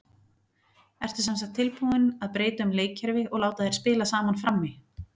Ertu semsagt tilbúinn að breyta um leikkerfi og láta þær spila saman frammi?